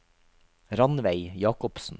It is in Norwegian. Ranveig Jacobsen